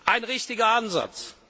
Ein richtiger Ansatz!